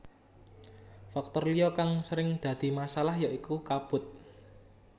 Faktor liya kang sering dadi masalah ya iku kabut